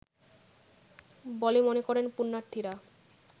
বলে মনে করেন পুন্যার্থীরা